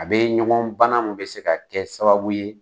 A be ɲɔgɔn bana min bɛ se ka kɛ sababu ye